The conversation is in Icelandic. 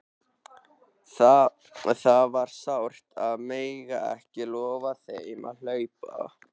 Það var sárt að mega ekki lofa þeim að hlaupa!